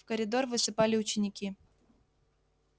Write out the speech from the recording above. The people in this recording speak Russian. в коридор высыпали ученики